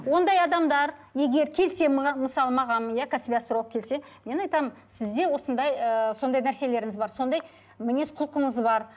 ондай адамдар егер келсе маған мысалы маған иә кәсіби асторологқа келсе мен айтамын сізде осындай ыыы сондай нәрселеріңіз бар сондай мінез құлқыңыз бар